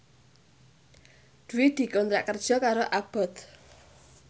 Dwi dikontrak kerja karo Abboth